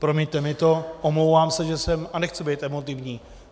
Promiňte mi to, omlouvám se, že jsem, a nechci být emotivní.